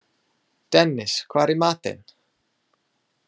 Dennis, hvað er í matinn?